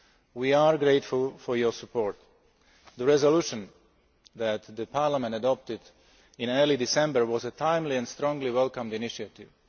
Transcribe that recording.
We are grateful for your support. The resolution that Parliament adopted in early December was a timely and strongly welcomed initiative.